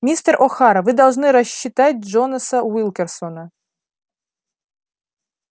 мистер охара вы должны рассчитать джонаса уилкерсона